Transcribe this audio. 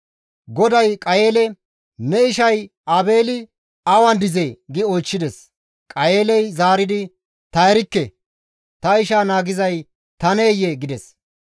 GODAY Qayeele, «Ne ishay Aabeeli awan dizee?» gi oychchides. Qayeeley zaaridi, «Ta erikke; ta ishaa naagizay taneyee?» gides.